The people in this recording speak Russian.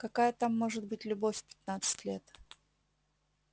какая там может быть любовь в пятнадцать лет